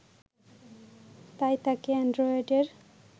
তাই তাকে অ্যানড্রয়েডের